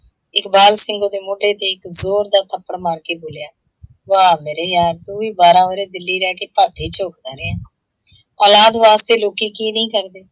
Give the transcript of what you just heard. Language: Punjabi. ਇਕਬਾਲ ਸਿੰਘ ਓਹਦੇ ਮੋਢੇ ਤੇ ਇੱਕ ਜ਼ੋਰ ਦਾ ਥੱਪੜ ਮਾਰ ਕੇ ਬੋਲਿਆ ਹੈ, ਵਾਹ ਮੇਰੇ ਯਾਰ ਤੂੰ ਵੀ ਬਾਰ੍ਹਾਂ ਵਰੇ ਦਿੱਲੀ ਰਹਿ ਕੇ ਭੱਠ ਹੀ ਝੋਂਕਦਾ ਰਿਹੈ। ਔਲਾਦ ਵਾਸਤੇ ਲੋਕੀ ਕੀ ਨਹੀਂ ਕਰਦੇ।